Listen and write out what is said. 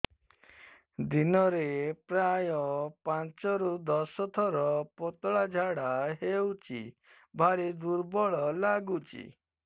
ଦିନରେ ପ୍ରାୟ ପାଞ୍ଚରୁ ଦଶ ଥର ପତଳା ଝାଡା ହଉଚି ଭାରି ଦୁର୍ବଳ ଲାଗୁଚି